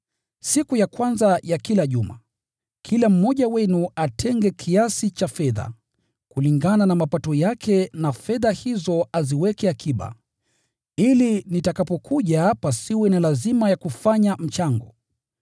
Siku ya kwanza ya kila juma, kila mmoja wenu atenge kiasi cha fedha, kulingana na mapato yake na fedha hizo aziweke akiba, ili nitakapokuja pasiwe na lazima ya kufanya mchango.